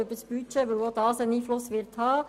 Denn auch dieses Gesetz wird einen Einfluss haben.